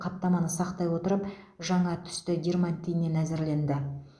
қаптаманы сақтай отырып жаңа түсті дерматиннен әзірленді